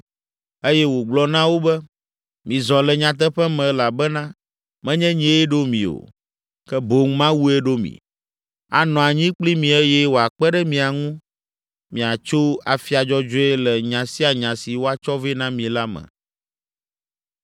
eye wògblɔ na wo be, “Mizɔ le nyateƒe me elabena menye nyee ɖo mi o, ke boŋ Mawue ɖo mi; anɔ anyi kpli mi eye wòakpe ɖe mia ŋu miatso afia dzɔdzɔe le nya sia nya si woatsɔ vɛ na mi la me.